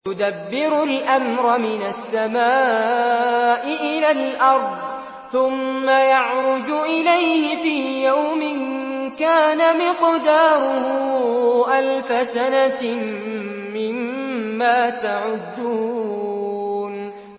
يُدَبِّرُ الْأَمْرَ مِنَ السَّمَاءِ إِلَى الْأَرْضِ ثُمَّ يَعْرُجُ إِلَيْهِ فِي يَوْمٍ كَانَ مِقْدَارُهُ أَلْفَ سَنَةٍ مِّمَّا تَعُدُّونَ